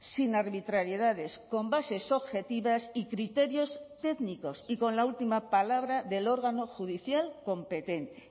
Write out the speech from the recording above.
sin arbitrariedades con bases objetivas y criterios técnicos y con la última palabra del órgano judicial competente